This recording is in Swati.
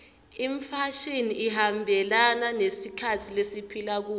imfashini ihambelana nesikhatsi lesiphila kuso